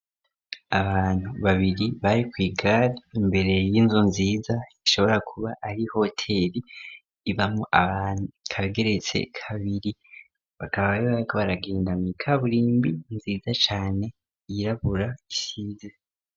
Abantu babiri bari kwigare imbere y'inzu nziza ishobora kuba ari hotel ibamo abantu. ikaba igeretse kabiri bakaba baragenda mu ikaburimbi nziza cane yirabura isize.